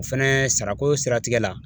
O fɛnɛ sarako siratigɛ la